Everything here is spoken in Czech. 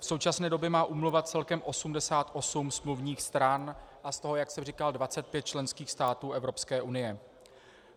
V současné době má úmluva celkem 88 smluvních stran a z toho, jak jsem říkal, 25 členských států Evropské unie.